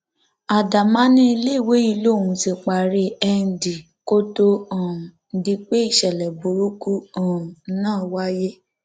adama ní iléèwé yìí lòún ti parí nd kó tóó um di pé ìṣẹlẹ burúkú um náà wáyé